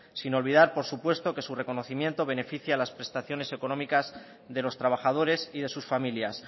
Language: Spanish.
sin olvidar por supuesto que su reconocimiento beneficia a las prestaciones económicas de los trabajadores y de sus familias